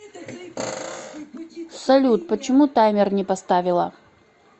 салют почему таймер не поставила